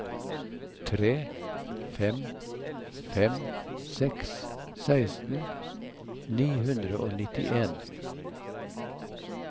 tre fem fem seks seksten ni hundre og nittien